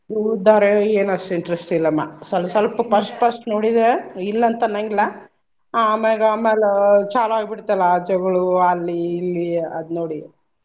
ಉಳುದ್ ಧಾರವಾಹಿ ಏನ್ ಅಷ್ಟ್ interest ಇಲ್ಲಮ್ಮಾ ಸ್ವಲ್ಪ್ ಸ್ವಲ್ಪ first first ನೋಡಿದ್ರೆ ಇಲ್ಲ್ ಅಂತ್ ಅನ್ನಂಗಿಲ್ಲ ಆ ಆಮ್ಯಾಗ ಆಮ್ಯಾಲೇ ಚಾಲು ಆಗಿ ಬಿಡ್ತಲ್ಲ ಆ ಜಗಳು ಅಲ್ಲಿ ಇಲ್ಲಿ ಅದ್ ನೋಡಿ.